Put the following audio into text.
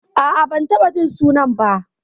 A'a, ban taɓa jin sunan ba.